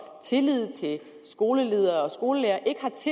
tillid til skoleledere og skolelærere